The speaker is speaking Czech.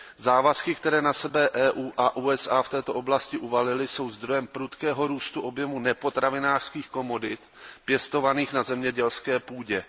Závazky, které na sebe EU a USA v této oblasti uvalily, jsou zdrojem prudkého růstu objemu nepotravinářských komodit pěstovaných na zemědělské půdě.